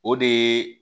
O de ye